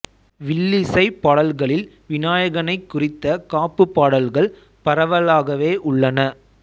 வில்லிசைப் பாடல்களில் விநாயகனைக் குறித்த காப்பு பாடல்கள் பரவலாகவே உள்ளன